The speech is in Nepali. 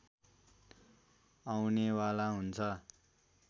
आउनेवाला हुन्छ